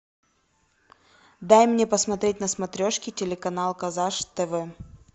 дай мне посмотреть на смотрешке телеканал казаш тв